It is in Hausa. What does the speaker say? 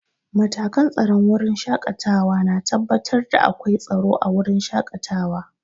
Matakan tsaron wurin shaƙatawa na tabbatar da akwai tsaro a wurin shaƙatawa.